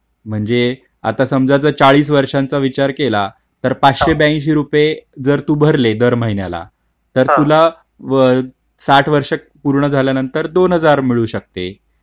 म्हणजे आता समजा चाळीस वर्षांचा विचार केला तर पाचशे ब्यांशी रुपये भरले दर महिन्याला तरळलं व साठ वर्ष पूर्ण झाल्यानंतर दोन हजार मिळू शकते.